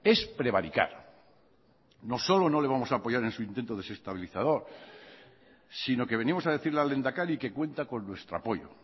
es prevaricar no solo no le vamos a apoyar en su intento desestabilizador sino que venimos a decirle al lehendakari que cuenta con nuestro apoyo